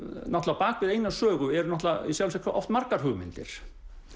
á bak við eina sögu eru í sjálfu sér oft margar hugmyndir